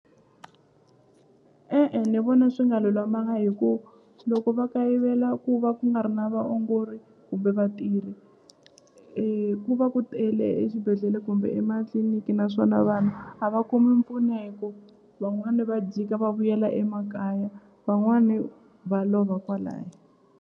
E-e ni vona swi nga lulamanga hi ku loko va kayivela ku va ku nga ri na vaongori kumbe vatirhi ku va ku tele exibedhlele kumbe ematliliniki naswona vanhu a va kumi mpfuno hi ku van'wani va jika va vuyela emakaya van'wani va lova kwalaya.